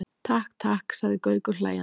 Takk, takk sagði Gaukur hlæjandi.